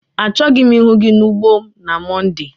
Achọghị m ịhụ gị n'ugbo m na Mọnde!